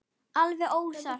Alveg óvart.